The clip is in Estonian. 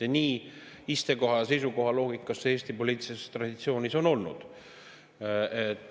Ja nii see istekoha‑seisukoha loogikas Eesti poliitilises traditsioonis on olnud.